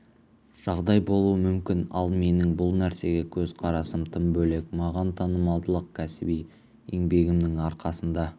жағдай болуы мүмкін ал менің бұл нәрсеге көзқарасым тым бөлек маған танымалдылық кәсіби еңбегімнің арқасында